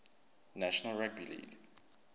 national rugby league